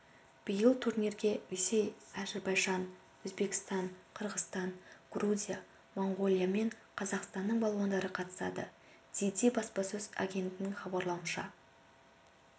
биыл турнирге ресей әзірбайжан өзбекстан қырғызстан грузия моңғолия мен қазақстанның балуандары қатысады дзидзи баспасөз агенттігінің хабарлауынша